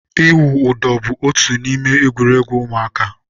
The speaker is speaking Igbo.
ịwụ ụdọ bu otu n'ime egwuregwu ụmụaka.